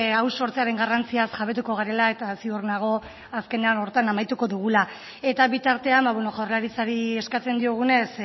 hau sortzearen garrantziaz jabetuko garela eta ziur nago azkenean horretan amaituko dugula eta bitartean jaurlaritzari eskatzen diogunez